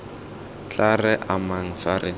tla re amang fa re